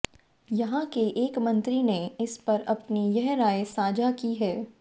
यहां के एक मंत्री ने इस पर अपनी यह राय साझा की है